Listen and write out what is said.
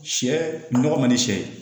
Sɛ nɔgɔ man di sɛ ye